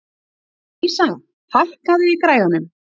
Vísa, hækkaðu í græjunum.